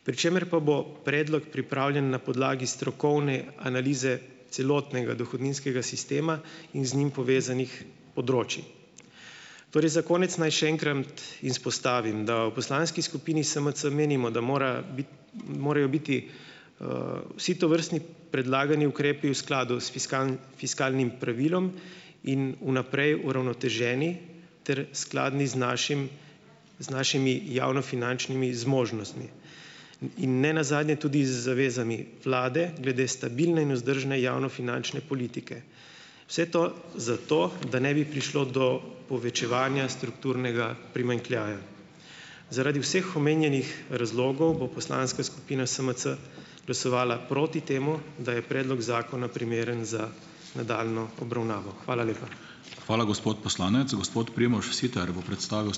Pri čemer pa bo predlog pripravljen na podlagi strokovne analize celotnega dohodninskega sistema in z njim povezanih področij. Torej za konec naj še enkrat izpostavim, da v poslanski skupini SMC menimo, da mora biti morajo biti, vsi tovrstni predlagani ukrepi v skladu s fiskalnim pravilom in vnaprej uravnoteženi ter skladni z našim, z našimi javnofinančnimi zmožnostmi in nenazadnje tudi z zavezami vlade glede stabilne in vzdržne javnofinančne politike. Vse to zato, da ne bi prišlo do povečevanja strukturnega primanjkljaja. Zaradi vseh omenjenih razlogov bo poslanska skupina SMC glasovala proti temu, da je predlog zakona primeren za nadaljnjo obravnavo. Hvala lepa.